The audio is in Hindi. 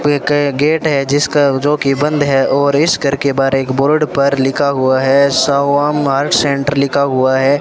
एक ये गेट है जिसका जो कि बंद है और इस घर के बाहर एक बोर्ड पर लिखा हुआ है सवा मार्ग सेंटर लिखा हुआ है।